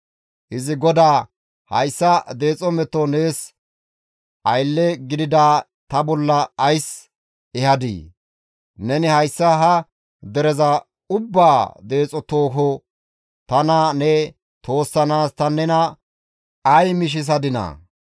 Izi GODAA, «Hayssa deexo meto nees aylle gidida ta bolla ays ehadii? Neni hayssa ha dereza ubbaa deexo tooho tana ne toossanaas ta nena ay mishisadinaa?